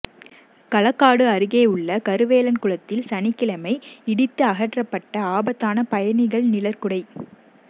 களக்காடு அருகேயுள்ள கருவேலன்குளத்தில் சனிக்கிழமை இடித்து அகற்றப்பட்ட ஆபத்தான பயணிகள் நிழற்குடை